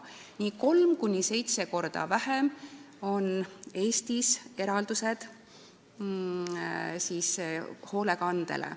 Nii et kolm kuni seitse korda väiksemad on Eesti eraldised hoolekandele.